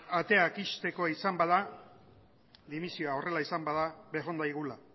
ateak ixtekoa izan bada dimisioa horrela izan bada bejondaigula